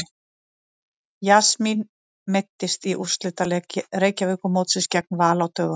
Jasmín meiddist í úrslitaleik Reykjavíkurmótsins gegn Val á dögunum.